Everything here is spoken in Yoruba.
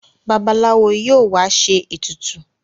Babalawo yíò wá ṣe ètùtù.